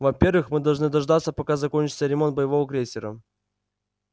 во-первых мы должны дождаться пока закончится ремонт боевого крейсера